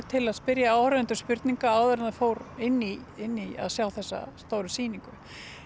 til að spyrja áhorfendur spurninga áður en það fór inn í inn í að sjá þessa stóru sýningu